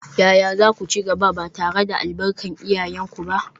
Yaya za ku ci gaba, ba tare da albarkar iyayenku ba?